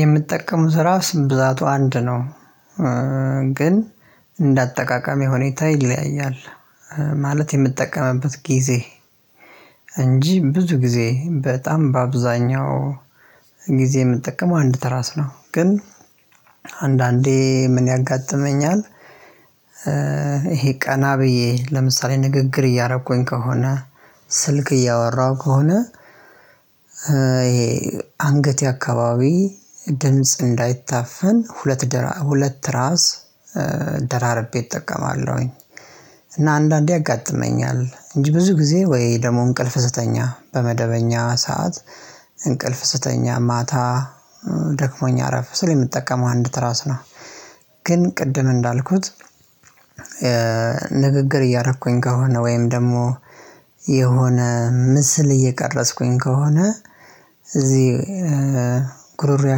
የምትጠቀሙት ትራስ ብዛቱ አንድ ነው። ግን እንደ አጠቃቀሜ ሁኔታ ይለያያል። ማለት የምጠቀምበት ጊዜ እንጂ ብዙ ጊዜ በጣም በአብዛኛው ጊዜ የምጠቀመው አንድ ትራስ ነው። ግን አንዳንዴ ምን ያጋጥመኛል? ይሄ ቀና ብዬ ለምሳሌ ንግግር እያረኩኝ ከሆነ ስልክ እያወራሁ ከሆነ ይሄ አንገቴ አከባቢ ድምጽ እንዳይታፈን ሁለት ሁለት ትራስ ደራርቤ እጠቀማለሁኝ። እና አንዳንዴ ያጋጥመኛል እንጂ ብዙ ጊዜ ወይ ደግሞ እንቅልፍ ስተኛ በመደበኛ ሰዓት እንቅልፍ ስተኛ ማታ ደክሞኝ አረፍ ስል የምጠቀመው አንድ ትራስ ነው። ግን ቅድም እንዳልኩት። ንግግር እያረኩኝ ከሆነ ወይም ደግሞ የሆነ ምስል እየቀረጽኩኝ ከሆነ እዚህ ጉሮሮዬ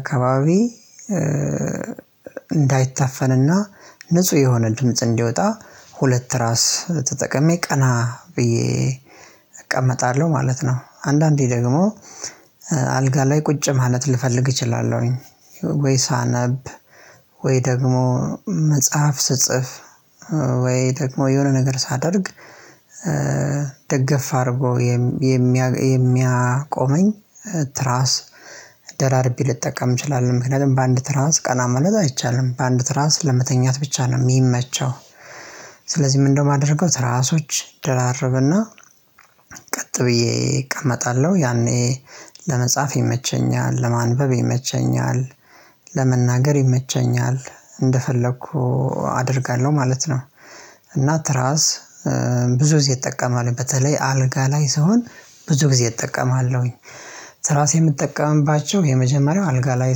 አካባቢ እንዳይታፈንና ንጹህ የሆነ ድምጽ እንዲወጣ ሁለት ትራስ ተጠቀሜ ቀና ብዬ እቀመጣለሁ ማለት ነው። አንዳንዴ ደግሞ አልጋ ላይ ቁጭ ማለት ልፈልግ እችላለሁኝ። ወይ ሳነብ ወይ ደግሞ መጽሐፍ ስጽፍ ወይ ደግሞ የሆነ ነገር ሳደርግ። ደገፍ አድርጎ የሚያቆመኝ ደራርቤ ልጠቀም እችላለሁ ምክንያቱም በአንድ ትራስ ቀና ማለት አይቻልም በአንድ ትራንስ ለመተኛት ብቻ ነው የሚመቸው። ስለዚህ ምንድነው የማደርገው ትራሶች ደራርብና። ቀጥ ብዬ እቀመጣለሁ ያኔ ለመጻፍ የመቸኛል ለማንበብ ይመቸኛል ለመናገር ይመቸኛል እንደፈለኩ አደርጋለሁ ማለት ነው። እና ትራስ ብዙ ጊዜ እጠቀማለው በተለይ አልጋ ላይ ስሆን ብዙ ጊዜ እጠቀማለሁኝ። ትራስ የምጠቀምባቸው የመጀመሪያው አልጋ ላይ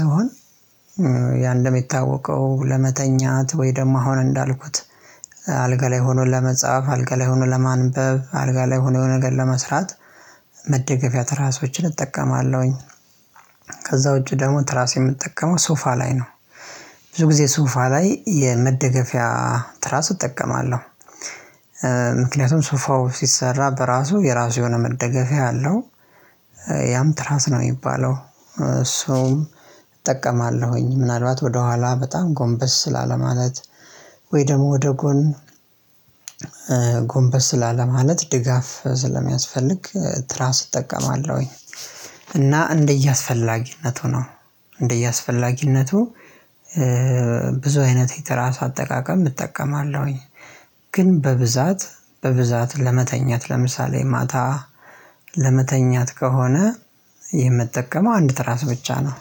ስሆን ያንድም የታወቀው ለመተኛት ወይ ደግሞ አሁን እንዳልኩት አልጋ ላይ ሆኖ ለመጻፍ አልጋ ላይ ሆኖ ለማንበብ አልጋ ላይ ሆኖ የሆነ ነገር ለመስራት መደገፊያ ትራሶችን እጠቀማለሁኝ። ከዛ ውጪ ደግሞ ትራስ የምጠቀመው ሶፋ ላይ ነው። ብዙ ጊዜ ሶፋ ላይ የመደገፊያ ትራስ እጠቀማለሁ። ምክንያቱም ሶፋው ሲሰራ በራሱ የራሱ የሆነ መደገፊያ አለው። ያም ትራስ ነው የሚባለው እሱንም እጠቀማለሁኝ ምናልባት ወደ ኋላ በጣም ጎንበስ ላለማለት ወይ ደግሞ ወደ ጎን ጎንበስ ላለማለት ድጋፍ ስለሚያስፈልግ ትራስ እጠቀማለሁኝ። እና እንደየአስፈላጊነቱ ነው። እንደየአስፈላጊነቱ ብዙ አይነት የትራስ አጠቃቀም እጠቀማለሁኝ። ግን በብዛት በብዛት ለመተኛት ለምሳሌ ማታ ለመተኛት ከሆነ የምጠቀመው አንድ ትራስ ብቻ ነው።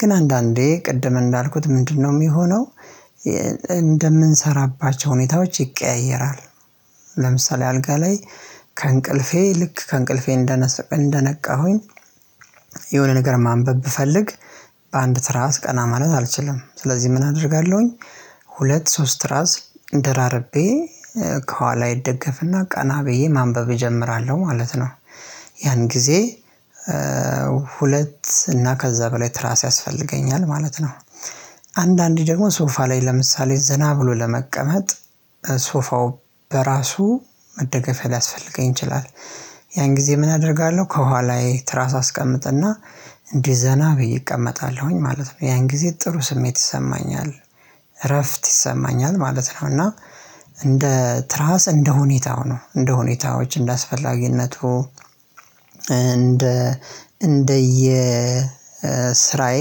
ግን አንዳንዴ ቅድም እንዳልኩት ምንድነው የሚሆነው? እንደምንሰራባቸው ሁኔታዎች ይቀያየራል። ለምሳሌ አልጋ ላይ ከእንቅልፌ ልክ ከእንቅልፌ እንደነቃሁኝ የሆነ ነገር ማንበብ ብፈልግ በአንድ ትራስ ቀና ማለት አልችልም ስለዚህ ምን አደርጋለሁኝ? ሁለት ሶስት ትራስ ደራረቤ ከኋላዬ እደገፍና ቀና ብዬ ማንበብ እጀምራለሁ ማለት ነው። ያን ጊዜ ሁለት እና ከዛ በላይ ትራስ ያስፈልገኛል ማለት ነው። አንዳንዴ ደግሞ ሶፋ ላይ ለምሳሌ ዘና ብሎ ለመቀመጥ ሶፋው በራሱ መደገፊያ ሊያስፈልገኝ ይችላል። ያን ጊዜ ምን አደርጋለሁ ከኋላዬ ትራስ አስቀምጥና እንዲ ዘና ብዬ እቀመጣለሁኝ ማለት ነው። ያን ጊዜ ጥሩ ስሜት ይሰማኛል እረፍት ይሰማኛል ማለት ነው። እና እንደ ትራስ እንደ ሁኔታው ነው እንደሁኔታዎች እንደአስፈላጊነቱ እንደ እንደየ ስራዬ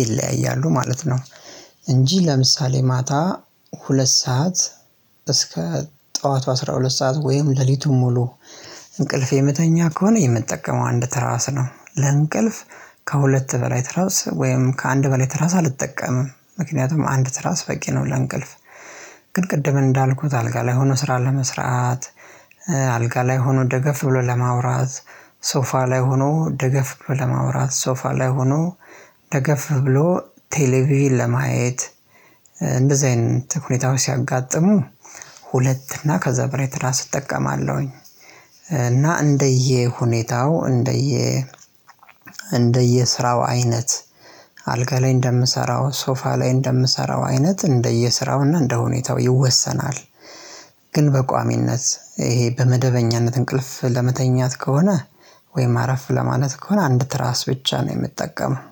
ይለያያሉ ማለት ነው። እንጂ ለምሳሌ ማታ ሁለት ሰዓት እስከ ጠዋቱ አስራ ሁለት ሰዓት ወይም ሌሊቱን ሙሉ እንቅልፍ የምተኛ ከሆነ የምጠቀመው አንድ ትራስ ነው። ለእንቅልፍ ከሁለት በላይ ትራስ ወይም ከአንድ በላይ ትራስ አልጠቀምም ምክንያቱም አንድ ትራስ በቂ ነው። ለእንቅልፍ። ቅድም እንዳልኩት አልጋ ላይ ሆኖ ስራ ለመስራት አልጋ ላይ ሆኖ ደገፍ ብሎ ለማውራት ሶፋ ላይ ሆኖ ደገፍ ብሎ ለማውራት ሶፋ ላይ ሆኖ ደገፍ ብሎ ቴሌቪዥን ለማየት እንደዚህ አይነት ሁኔታዎች ሲያጋጥሙ ሁለት እና ከዘያ በላይ ትራስ እጠቀማለሁኝ። እና እንደየ እንደየ እንደየስራው አይነት አልጋ ላይ እንደምሰራው ሶፋ ላይ እንደምሰራው አይነት እንደየስራውና እንደሁኔታው ይወሰናል። ግን በቋሚነት ይሄ በመደበኛነት እንቅልፍ ለመተኛት ከሆነ ወይም አረፍ ለማለት ከሆነ አንድ ትራስ ብቻ ነው የምጠቀመው